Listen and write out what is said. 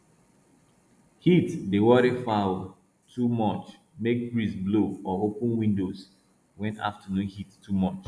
heat dey worry fowl too muchmake breeze blow or open windows when afternoon heat too much